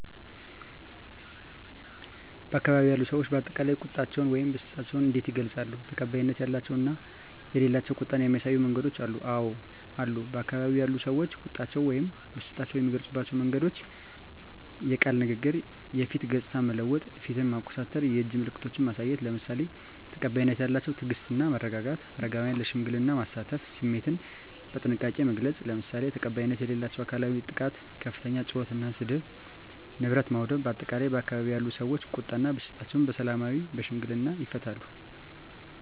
በአካባቢው ያሉ ሰዎች በአጠቃላይ ቁጣቸውን ወይም ብስጭታቸውን እንዴት ይገልጻሉ? ተቀባይነት ያላቸው እና የሌላቸው ቁጣን የሚያሳዩ መንገዶች አሉ? *አወ አሉ፦ በአካባቢው ያሉ ሰዎች ቁጣቸውን ወይም ብስጭታቸውን የሚገልጹባቸው መንገዶች፦ * የቃል ንግግር *የፊት ገጽታን መለወጥ (ፊትን ማኮሳተር)፣ *የእጅ ምልክቶችን ማሳየት፣ **ለምሳሌ፦ ተቀባይነት ያላቸው * ትዕግስት እና መረጋጋት: * አረጋውያንን ለሽምግልና ማሳተፍ።: * ስሜትን በጥንቃቄ መግለጽ: **ለምሳሌ፦ ተቀባይነት የሌላቸው * አካላዊ ጥቃት * ከፍተኛ ጩኸት እና ስድብ: * ንብረት ማውደም: በአጠቃላይ፣ ባካባቢው ያሉ ሰዎች ቁጣ እና ብስጭታቸውን በሰላማዊና በሽምግልና ይፈታሉ።